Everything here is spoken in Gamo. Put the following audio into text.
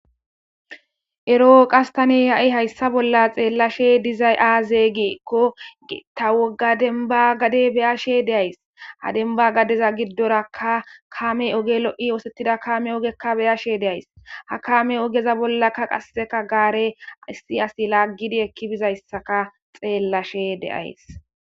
Ero qastane ya'i hayssa bolla xeellashe dizay aazeygiekko geta woga denba gade beya she deays ha denba gadeza giddoraka kame oge lo'i oosettida kame ogekka beyashe deays ha kaame ogeza bollakka qasseka gaare issi asi laggidi ekki bizayssaka xeellashe deays.